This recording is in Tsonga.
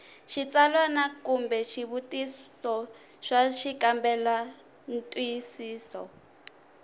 xitsalwana kumbe swivutiso swa xikambelantwisiso